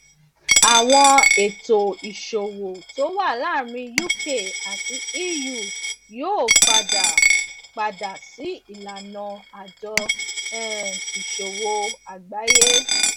àwọn ètò ìṣòwò tó wà láàárín uk àti eu yóò padà padà sí ìlànà àjọ um ìṣòwò àgbáyé